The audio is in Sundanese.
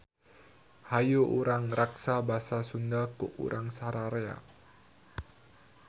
Hayu urang raksa basa Sunda ku urang sararea.